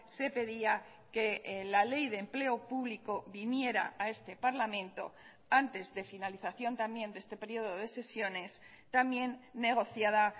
se pedía que la ley de empleo público viniera a este parlamento antes de finalización también de este periodo de sesiones también negociada